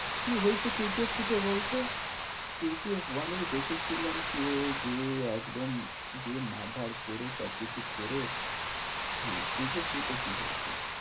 কি হয়েছে কে জি এফ two তে বলতো? কে জি এফ one এতে তো দেখেছিলাম কি ও গিয়ে একদম গিয়ে মার্ ধার করে সবকিছু করে, হ্যাঁ কে জি এফ two তে কি হয়ে ছিল?